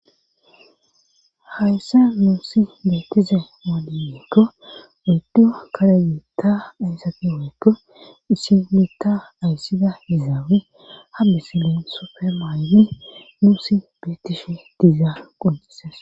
hayssan nuusi beettize waaliyeekko uduyo kare yiitta ayssati hoykko isimitta ayssida izaabe hammisilin supermayli muusi beetishe diiza quncises